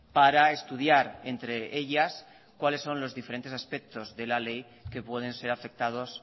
para estudiar entre ellas cuáles son los diferentes aspectos de la ley que pueden ser afectados